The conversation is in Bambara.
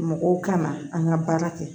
Mɔgɔw kana an ka baara kɛ